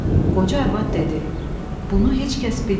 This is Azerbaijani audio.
Qoca arvad dedi: "Bunu heç kəs bilmir."